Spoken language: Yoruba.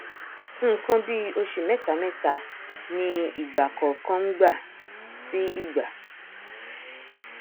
nkan bíì ọsù mẹtamẹta ni ìgbà kọọkan ngbà tí ìgbà